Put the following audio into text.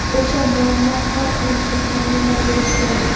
o‘sha muammo hal qilinishini ta’minlab berishi kerak!.